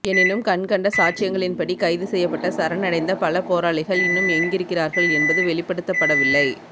எனினும் கண்கண்ட சாட்சியங்களின்படி கைதுசெய்யப்பட்ட சரணடைந்த பல போராளிகள் இன்னும் எங்கிருக்கிறார்கள் என்பது வெளிப்படுத்தப்படவில்லை